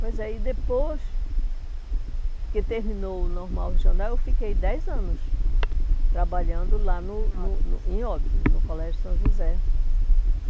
Pois é, e depois que terminou o Normal Regional eu fiquei dez anos trabalhando lá no no no, em Óbidos, em Óbidos, no Colégio São José.